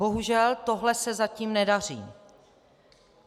Bohužel tohle se zatím nedaří.